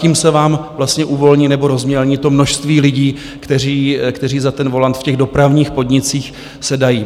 Tím se vám vlastně uvolní nebo rozmělní to množství lidí, kteří za ten volant v těch dopravních podnicích sedají.